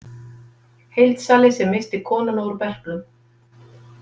Heildsali sem missti konuna úr berklum.